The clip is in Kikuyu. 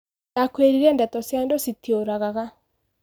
Ndakwĩrire ndeto cia andũ citiũragaga.